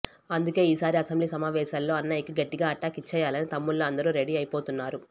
అందుకే ఈసారి అసెంబ్లీ సమావేశాలలో అన్నయ్యకి గట్టిగా అటాక్ ఇచ్చేయాలని తమ్ముళ్ళు అందరూ రెడీ అయిపోతున్నారు